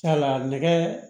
nɛgɛ